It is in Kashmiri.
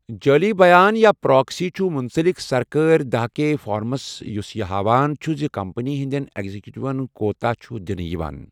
جٲلی بیان، یا پراکسی چھُ مُنسلِک سرکٲرۍ داہ کے فارمَس یُس یہِ ہاوان چُھ زِ کمپنی ہٕنٛدیٚن ایگزیکیٹون کوٗتاو چھُ دِنہِ یِوان